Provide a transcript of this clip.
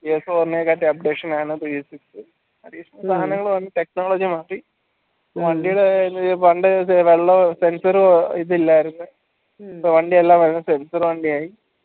updation ആണ് പണ്ടേ sensor ഇല്ലായർന്ന് ഇപ്പൊ അതിൻറെ എല്ലാ sensor വണ്ടിയായി